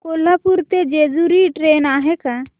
कोल्हापूर ते जेजुरी ट्रेन आहे का